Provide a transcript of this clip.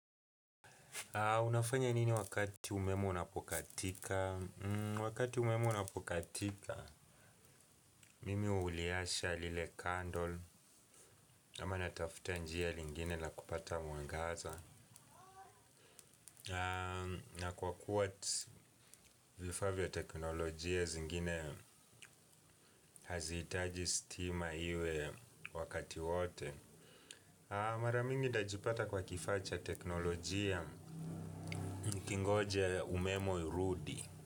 Unafanya nini wakati umeme unapokatika? Wakati umeme unapokatika, mimi uliasha lile kandol, ama natafuta njia lingine la kupata mwangaza. Na kwa kuwa vifaa vya teknolojia zingine, hazi hitaji stima iwe wakati wote. Mara nyingi najipata kwa kifaa vya teknolojia nikingoja umeme urudi.